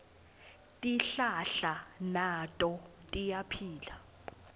tihlahla nato tiyaphila